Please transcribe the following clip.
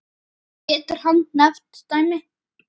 Getur hann nefnt dæmi?